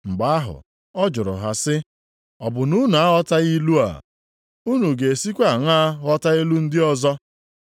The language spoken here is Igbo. Mgbe ahụ, ọ jụrụ ha sị, “Ọ bụ na unu aghọtaghị ilu a? Unu ga-esikwa aṅaa ghọta ilu ndị ọzọ?